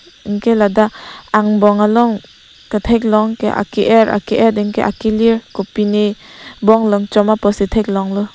anke ladak angbong along ketheklong ke ake er ake et anke akelir kopine bonglong chom apot si thek long lo.